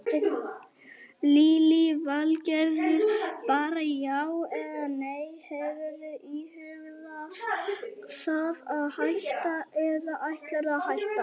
Lillý Valgerður: Bara já eða nei, hefurðu íhugað það að hætta eða ætlarðu að hætta?